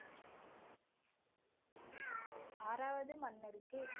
ஆறாவது மன்னருக்கு